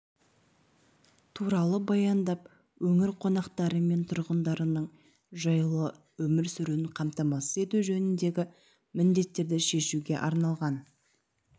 туралы баяндап өңір қонақтары мен тұрғындарының жайлы өмір сүруін қамтамасыз ету жөніндегі міндеттерді шешуге арналған